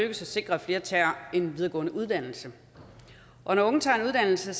at sikre at flere tager en videregående uddannelse og når unge tager en uddannelse